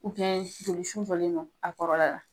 jolisu jɔlen don a kɔrɔla la.